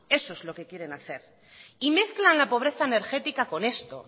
eso es lo que quieren hacer y mezclan la pobreza energética con esto